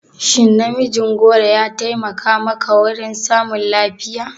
Shin namijin goro ya taimaka maka wurin samun lafiya?